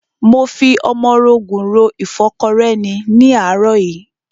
Mo fi ọmọrogùn ro ìfọ́kọrẹ́ ni ní àárọ̀ yìí.